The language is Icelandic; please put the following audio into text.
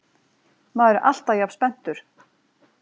Maður er alltaf jafn spenntur